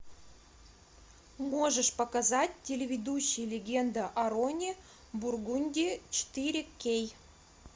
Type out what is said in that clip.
можешь показать телеведущий легенда о роне бургунди четыре кей